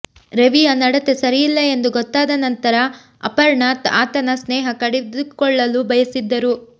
ರವಿಯ ನಡತೆ ಸರಿಯಿಲ್ಲ ಎಂದು ಗೊತ್ತಾದ ನಂತರ ಅಪರ್ಣಾ ಆತನ ಸ್ನೇಹ ಕಡಿದುಕೊಳ್ಳಲು ಬಯಸಿದ್ದರು